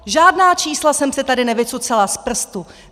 Žádná čísla jsem si tady nevycucala z prstu.